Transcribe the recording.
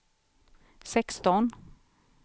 sexton